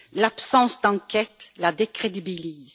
L'absence d'enquête la décrédibilise.